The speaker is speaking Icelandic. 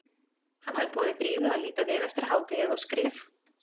Hann hafði boðið Drífu að líta við eftir hádegið á skrif